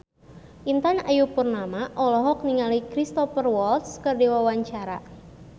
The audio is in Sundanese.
Intan Ayu Purnama olohok ningali Cristhoper Waltz keur diwawancara